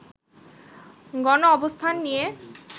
গনঅবস্থান নিয়ে